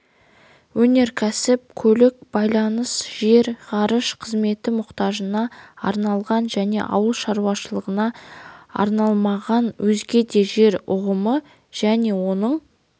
өнеркәсіп көлік байланыс жер ғарыш қызметі мұқтажына арналған және ауыл шаруашылығына арналмаған өзге де жер ұғымы және оның